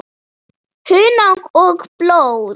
Hunang og blóð